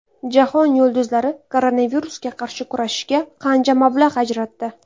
Jahon yulduzlari koronavirusga qarshi kurashishga qancha mablag‘ ajratdi?.